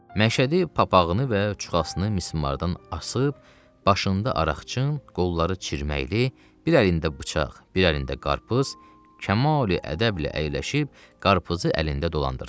Məşədi papağını və çuxasını mismardan asıb, başında araqçın, qolları çirməkli, bir əlində bıçaq, bir əlində qarpız, kamali ədəblə əyləşib, qarpızı əlində dolandırdı.